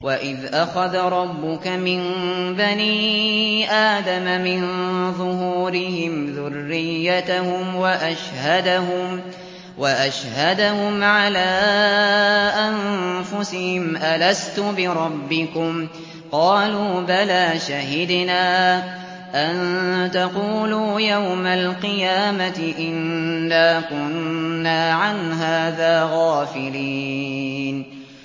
وَإِذْ أَخَذَ رَبُّكَ مِن بَنِي آدَمَ مِن ظُهُورِهِمْ ذُرِّيَّتَهُمْ وَأَشْهَدَهُمْ عَلَىٰ أَنفُسِهِمْ أَلَسْتُ بِرَبِّكُمْ ۖ قَالُوا بَلَىٰ ۛ شَهِدْنَا ۛ أَن تَقُولُوا يَوْمَ الْقِيَامَةِ إِنَّا كُنَّا عَنْ هَٰذَا غَافِلِينَ